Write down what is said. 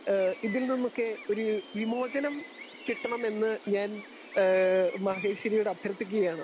Speaker 2 ഹേ ഇതിന്നൊക്കെ ഒര് വിമോചനം കിട്ടണമെന്ന് ഞാൻ ഹേ ഞാൻ മഹേഷ്വരി യോട് അഭ്യർത്ഥിക്കുകയാണ്.